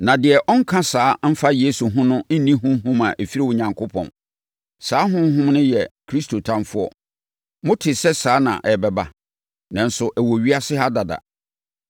Na deɛ ɔnka saa mfa Yesu ho no nni honhom a ɛfiri Onyankopɔn. Saa honhom no yɛ Kristo ɔtamfoɔ. Motee sɛ saa na ɛbɛba, nanso ɛwɔ ewiase ha dada.